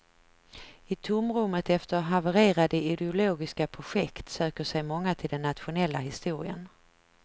I tomrummet efter havererade ideologiska projekt söker sig många till den nationella historien.